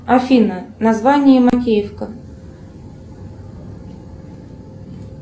афина название макеевка